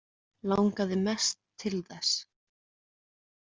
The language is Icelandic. Langaði mest til þess.